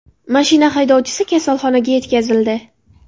Mashina haydovchisi kasalxonaga yetkazildi.